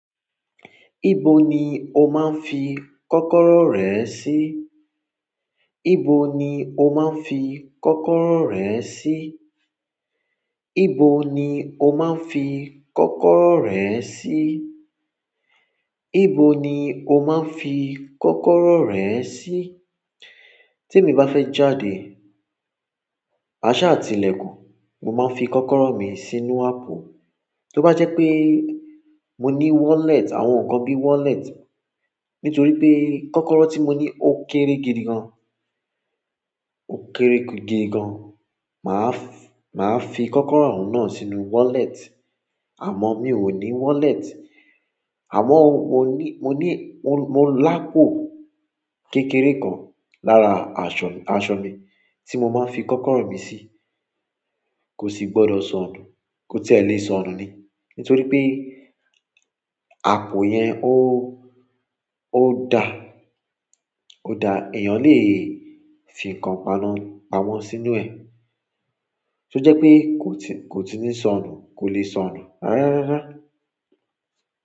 Ibo ni o máa ń fi kọ́kọ́rọ́ rẹ sí? Ibo ni o máa ń fi kọ́kọ́rọ́ rẹ sí? Ibo ni o máa ń fi kọ́kọ́rọ́ rẹ sí? Ibo ni o máa ń fi kọ́kọ́rọ́ rẹ sí? Tí èmi bá fẹ́ jáde, àsá àti ìlẹ̀kùn, mo máa ń fi kọ́kọ́rọ́ mi sínú àpò. Tí ó bá jẹ́ pé mo ní wallet, àwọn nǹkan bí wallet, nítorí pé kọ́kọ́rọ́ tí mo ní ó kéré gidi gan. Ó kéré gidi gan. Máa f-- máa fi kọ́kọ́rọ́ ọun náà sínú wallet. Àmọ́ mi ò ní wallet. Àmọ́ mo ní, mo ní, mo, mo lápò kékeré kan lára aṣọ, aṣọ mi tí mo máa ń fi kọ́kọ́rọ́ mi sí. Kò sì gbọdọ̀ sọnù, kò ti elẹ̀ sọnù ni. Nítorí pé àpò yẹn ó, ó da, ó da èèyàn lè fi nǹkan pamọ́, pamọ́ sínú ẹ̀. To je wípé ko ti ni sonu, ko le sonu rara rara.